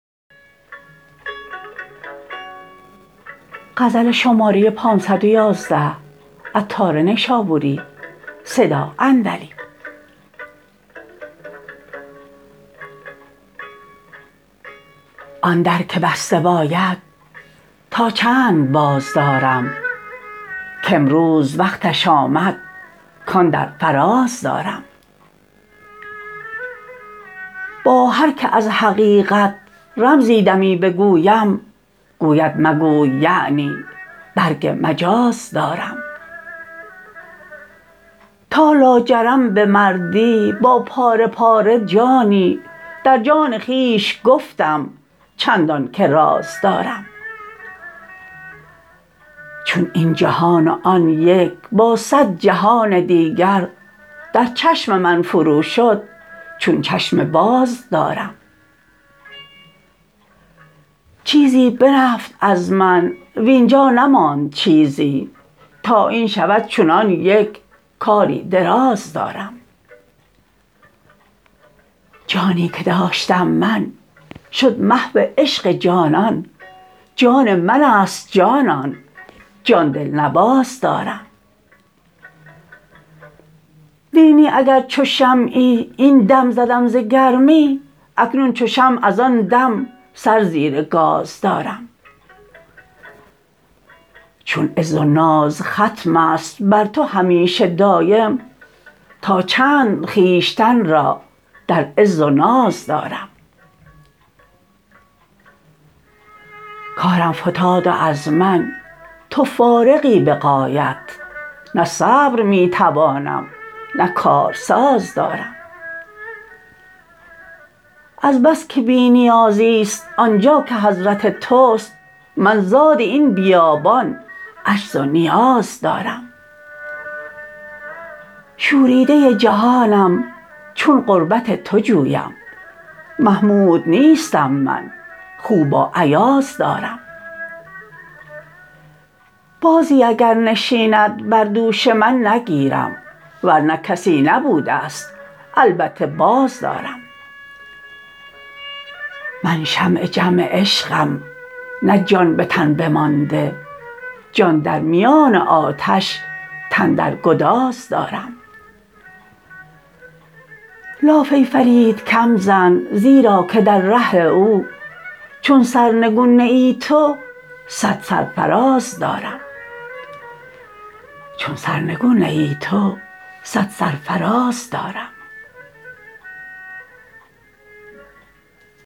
آن در که بسته باید تا چند باز دارم کامروز وقتش آمد کان در فراز دارم با هر که از حقیقت رمزی دمی بگویم گوید مگوی یعنی برگ مجاز دارم تا لاجرم بمردی با پاره پاره جانی در جان خویش گفتم چندان که راز دارم چون این جهان و آن یک با صد جهان دیگر در چشم من فرو شد چون چشم باز دارم چیزی برفت از من واینجا نماند چیزی تا این شود چون آن یک کاری دراز دارم جانی که داشتم من شد محو عشق جانان جان من است جانان جان دلنواز دارم نی نی اگر چو شمعی این دم زدم ز گرمی اکنون چو شمع از آن دم سر زیر گاز دارم چون عز و ناز ختم است بر تو همیشه دایم تا چند خویشتن را در عز و ناز دارم کارم فتاد و از من تو فارغی به غایت نه صبر می توانم نه کارساز دارم از بس که بی نیازی است آنجا که حضرت توست من زاد این بیابان عجز و نیاز دارم شوریده جهانم چون قربت تو جویم محمود نیستم من خو با ایاز دارم بازی اگر نشیند بر دوش من نگیرم ورنه کسی نبوده است البته بازدارم من شمع جمع عشقم نه جان به تن بمانده جان در میان آتش تن در گداز دارم لاف ای فرید کم زن زیرا که در ره او چون سرنگون نه ای تو صد سرفراز دارم